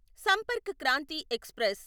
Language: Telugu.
సంపర్క్ క్రాంతి ఎక్స్ప్రెస్